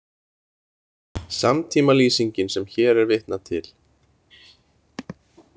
Samtímalýsingin sem hér er vitnað til.